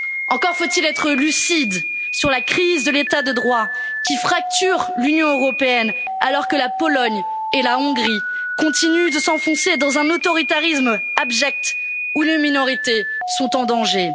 Encore faut il être lucide sur la crise de l'état de droit qui fracture l'Union européenne, alors que la Pologne et la Hongrie continuent de s'enfoncer dans un autoritarisme abject où les minorités sont en danger.